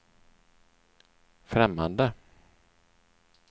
främmande